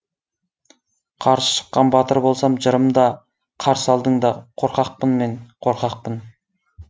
қарсы шыққан батыр болсам жырым да қарсы алдың да қорқақпын мен қорқақпын